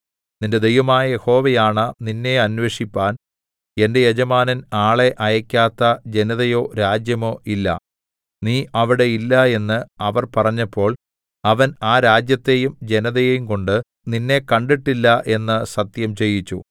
നിന്റെ ദൈവമായ യഹോവയാണ നിന്നെ അന്വേഷിപ്പാൻ എന്റെ യജമാനൻ ആളെ അയക്കാത്ത ജനതയോ രാജ്യമോ ഇല്ല നീ അവിടെ ഇല്ല എന്ന് അവർ പറഞ്ഞപ്പോൾ അവൻ ആ രാജ്യത്തെയും ജനതയെയുംകൊണ്ട് നിന്നെ കണ്ടിട്ടില്ല എന്ന് സത്യംചെയ്യിച്ചു